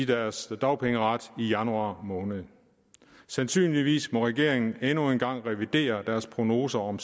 deres dagpengeret i januar måned og sandsynligvis må regeringen endnu en gang revidere deres prognoser om